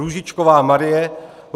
Růžičková Marie